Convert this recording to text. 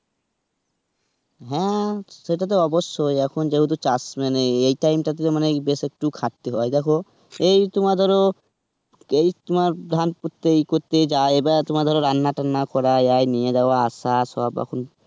হ্যাঁ সেটা তো অবশ্যই. এখন যেহেতু চাষ মানে এই time টাতে বেশ একটু খাটতে হয় দেখো, এই তোমার ধরো এই তোমার ধান পুততে ই করতে যায় এবার তোমার ধরো রান্না টান্না করা নিয়ে যাওয়া আসা সব এখন.